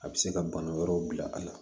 A bɛ se ka bana wɛrɛw bila a la